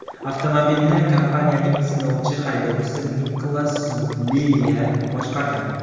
Avtomobilni kompaniyaning sinovchi haydovchisi Niklas Lilya boshqargan.